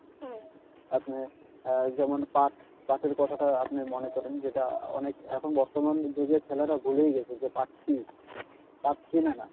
আপনি যেমন পাট পাটের কথাটা আপনি মনে করেন যেটা অনেক এখন বর্তমান যুগে ছেলেরা ভুলেই গেছে যে পাট কি পাট চিনেনা